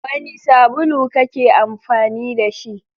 Wani sabulu kake amfani da shi?